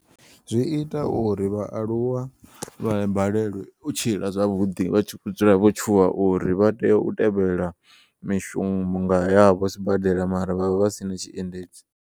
Zwi ita uri vhaaluwa vha balelwe u tshila zwavhuḓi vha tshi kho dzula vho tshuwa uri vha tea u tevhela mishonga yavho sibadela mara vha vha vhasina tshiendedzi.